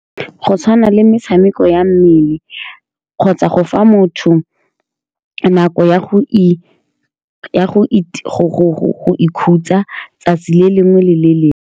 Go tshwana le metshameko ya mmele, kgotsa go fa motho nako ya go ya go go-go-go ikhutsa letsatsi le lengwe le lengwe.